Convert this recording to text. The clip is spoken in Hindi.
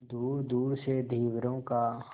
दूरदूर से धीवरों का